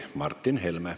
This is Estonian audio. Martin Helme.